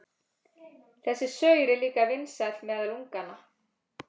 Þessi saur er líka vinsæll meðal unganna.